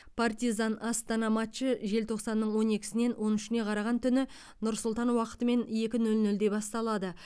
партизан астана матчы желтоқсанның он екісінен он үшіне қараған түні нұр сұлтан уақытымен екі нөл нөлде басталады